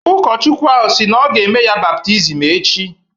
Ụkọchukwu ahụ sị na ọ ga-eme ya baptizim echi.